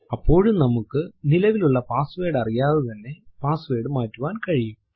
അപ്പോഴും നമ്മൾക്ക് നിലവിലുള്ള പാസ്സ്വേർഡ് അറിയാതെ തന്നെ പാസ്സ്വേർഡ് മാറ്റുവാൻ കഴിയും